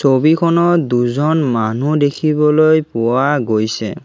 ছবিখনত দুজন মানুহ দেখিবলৈ পোৱা গৈছে।